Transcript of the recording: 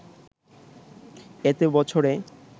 এতে বছরে